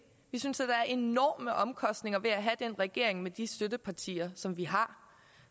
vi synes da der er enorme omkostninger ved at have den regering med de støttepartier som vi har